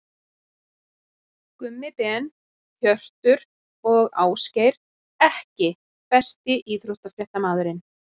Gummi Ben, Hjörtur og Ásgeir EKKI besti íþróttafréttamaðurinn?